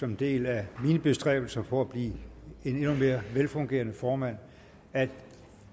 en del af mine bestræbelser på at blive en endnu mere velfungerende formand at